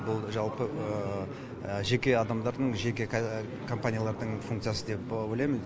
бұл жалпы жеке адамдардың жеке компаниялардың функциясы деп ойлаймын